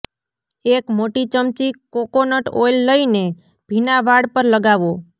એક મોટી ચમચી કોકોનટ ઓઇલ લઇને ભીના વાળ પર લગાવો